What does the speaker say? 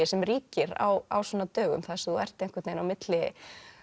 sem ríkir á svona dögum þar sem þú ert á milli